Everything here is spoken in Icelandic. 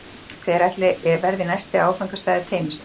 Hver ætli verði næsti áfangastaður teymisins?